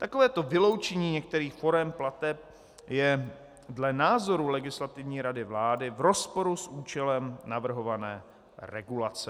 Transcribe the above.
Takovéto vyloučení některých forem plateb je dle názoru Legislativní rady vlády v rozporu s účelem navrhované regulace.